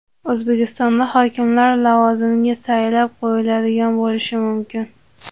O‘zbekistonda hokimlar lavozimiga saylab qo‘yiladigan bo‘lishi mumkin.